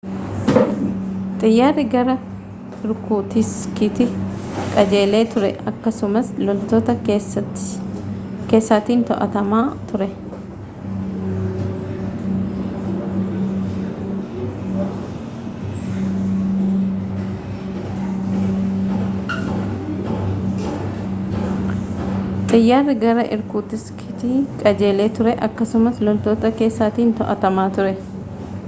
xiyyaarri gara irkuutiskiitti qajeelee ture akkasumas loltoota keessatiin to'atamaa ture